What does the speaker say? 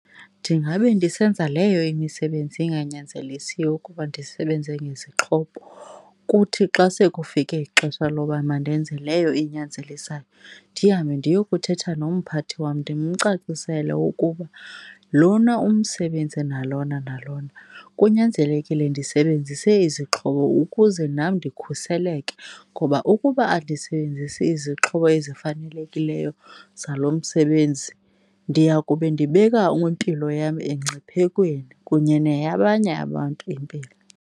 Ndingabe ndisenza leyo imisebenzi inganyanzelisiyo ukuba ndisebenze ngezixhobo, kuthi xa sekufike ixesha loba mandenze leyo inyanzelisayo, ndihambe ndiyokuthetha nompathi wam ndimcacisele ukuba lona umsebenzi nalona nalona kunyanzelekile ndisebenzise izixhobo ukuze nam ndikhuseleke. Ngoba ukuba andisebenzisi izixhobo ezifanelekileyo zalo msebenzi ndiya kube ndibeka impilo yam emngciphekweni kunye neyabanye abantu impilo.